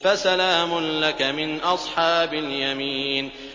فَسَلَامٌ لَّكَ مِنْ أَصْحَابِ الْيَمِينِ